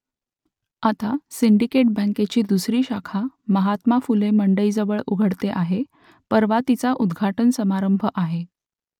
आता सिंडिकेट बँकेची दुसरी शाखा महात्मा फुले मंडईजवळ उघडते आहे परवा तिचा उद्घाटन समारंभ आहे